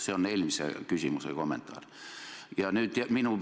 See on eelmise küsimuse vastuste kommentaar.